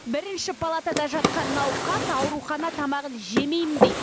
бірінші палатада жатқан науқас аурухана тамағын жемейм дейді